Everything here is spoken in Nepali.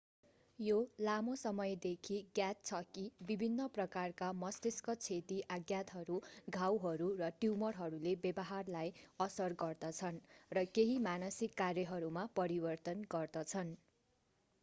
यो लामो समयदेखि ज्ञात छ कि विभिन्न प्रकारका मस्तिष्क क्षति आघातहरू घाउहरू र ट्यूमरहरूले व्यवहारलाई असर गर्दछन् र केही मानसिक कार्यहरूमा परिवर्तन गर्दछन्